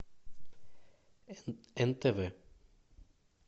нтв